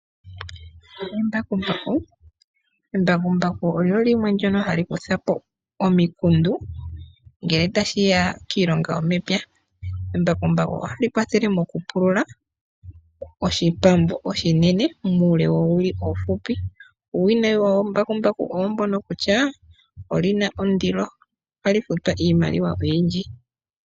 Embakumbaku olyo limwe ndyono hali kutha po omikundu ngele tashi ya kiilonga yomepya. Ohali kwathele okupulula oshipambu oshinene muule woowili oonshona. Uuwinayi wombakumbaku owo mbono kutya oli na ondilo. Ohali futwa iimaliwa oyindji.